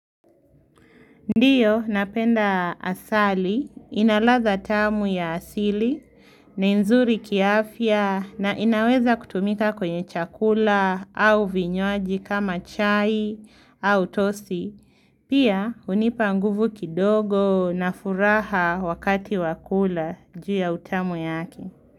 Ndiyo, napenda asali, inaladha tamu ya asili, nei nzuri kiafya, na inaweza kutumika kwenye chakula au vinywaji kama chai au tosi. Pia, hunipa nguvu kidogo na furaha wakati wa kula ju ya utamu yake.